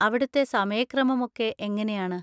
അവിടുത്തെ സമയക്രമം ഒക്കെ എങ്ങനെയാണ്?